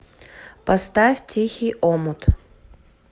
поставь тихий омут